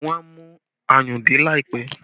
Wọn a mú ayùn dé láìpẹ́